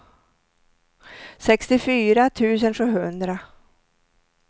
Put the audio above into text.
sextiofyra tusen sjuhundra